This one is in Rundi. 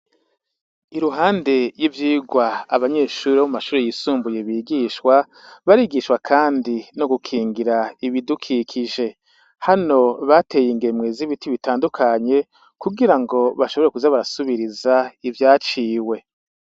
Iruhande y' ivyigw' abanyeshure bo mu mashure y' isumbuye bigishwa, barigishwa kandi no gukingir' ibidukikije, hano har' ibiti bitobito bitandukanye bateguye kugira ngo bashobore kuza barasubiriz' ivyaciwe.